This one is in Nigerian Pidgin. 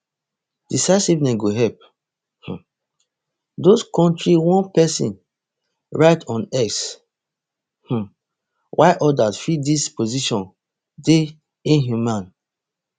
decisiveness go help um these kontri one pesin write on x um while odas feel dis position dey inhumane